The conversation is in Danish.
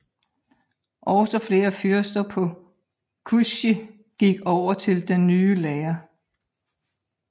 Også flere fyrster på Kyushu gik over til den ny lære